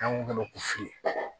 An ko k'a ma ko fili